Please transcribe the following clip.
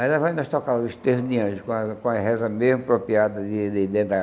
Aí nós vai n[os tocar os de anjo, com a com a reza meio apropriada